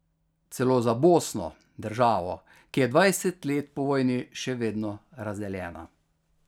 Celo za Bosno, državo, ki je dvajset let po vojni še vedno razdeljena.